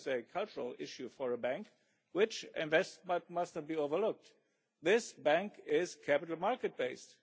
This is a cultural issue for a bank which invests, but it must not be overlooked that this bank is capital market based.